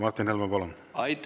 Martin Helme, palun!